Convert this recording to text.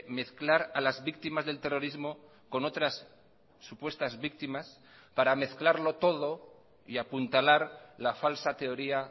mezclar a las víctimas del terrorismo con otras supuestas víctimas para mezclarlo todo y apuntalar la falsa teoría